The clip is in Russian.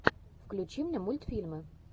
включи мне мультфильмы